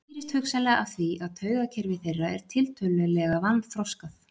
Þetta skýrist hugsanlega af því að taugakerfi þeirra er tiltölulega vanþroskað.